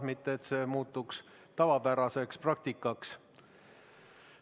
See ei tohi muutuda tavapäraseks praktikaks.